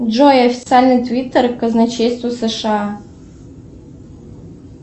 джой официальный твитер казначейства сша